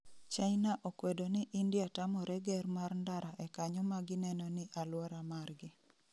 China okwedo ni India tamore ger mar ndara e kanyo magineno ni aluora margi